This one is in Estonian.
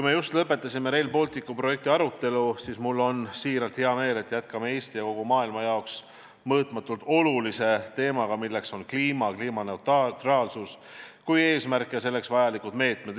Me just lõpetasime Rail Balticu projekti arutelu ja mul on siiralt hea meel, et jätkame Eesti ja kogu maailma jaoks mõõtmatult olulisema teemaga, milleks on kliima, kliimaneutraalsus kui eesmärk ja selleks vajalikud meetmed.